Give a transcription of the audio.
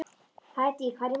Hædý, hvað er í matinn?